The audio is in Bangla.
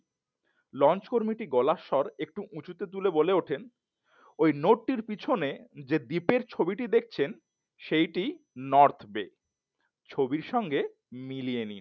লঞ্চ কর্মীটি গলার স্বর একটু উঁচু করে বললেন ওই নোটটি পেছনে যে দ্বীপের ছবিটি দেখছেন সেই নর্থ বে ছবির সাথে মিলিয়ে নিন।